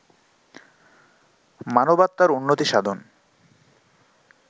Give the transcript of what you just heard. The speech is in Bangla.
মানবাত্মার উন্নতি সাধন